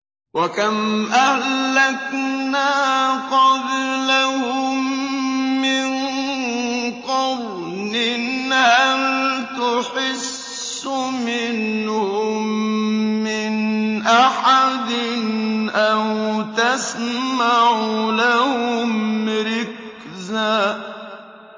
وَكَمْ أَهْلَكْنَا قَبْلَهُم مِّن قَرْنٍ هَلْ تُحِسُّ مِنْهُم مِّنْ أَحَدٍ أَوْ تَسْمَعُ لَهُمْ رِكْزًا